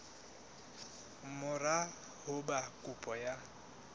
mora ho ba kopo ya